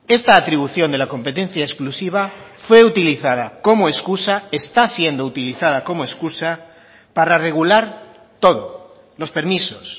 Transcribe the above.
esta atribución de la competencia exclusiva fue utilizada como excusa está siendo utilizada como excusa para regular todo los permisos